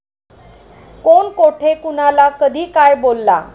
कोण कोठे, कुणाला, कधी काय बोलला?